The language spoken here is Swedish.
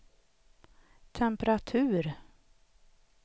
temperatur